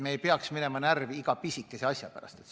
Me ei tohiks minna närvi iga pisikese asja pärast.